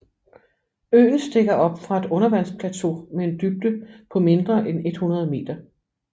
Øen stikker op fra et undervandsplateau med en dybde på mindre end 100 meter